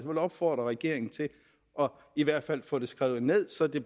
vil opfordre regeringen til i hvert fald at få det skrevet ned så det